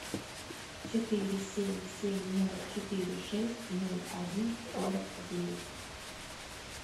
четыре семь семь ноль четыре шесть ноль один сорок девять